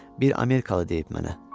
Bir amerikalı deyib mənə.